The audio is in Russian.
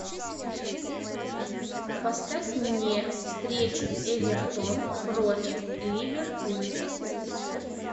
поставь мне встречу эвертон против ливерпуль